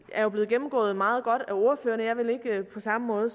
er jo blevet gennemgået meget godt af ordførerne jeg vil ikke på samme måde